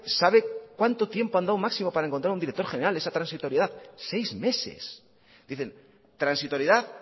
sabe cuánto tiempo han dado máximo para encontrar un director general en esa transitoriedad seis meses dicen transitoriedad